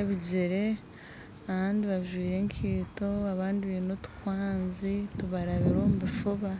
ebijere abandi bajwaire enkaito abandi baine otukwanzi tubarabire omu bifuba.